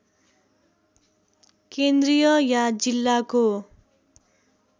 केन्द्रीय या जिल्लाको